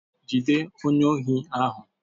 Jide onye ohi ahu!